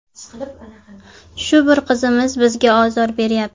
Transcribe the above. Shu bir qizimiz bizga ozor beryapti.